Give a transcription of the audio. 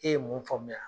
E ye mun faamuya